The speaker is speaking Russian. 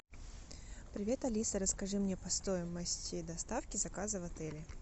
привет алиса расскажи мне по стоимости доставки заказа в отеле